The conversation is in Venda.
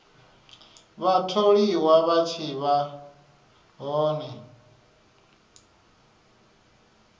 vhatholiwa vha tshi vha hone